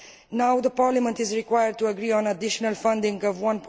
Now, Parliament is required to agree on additional funding of EUR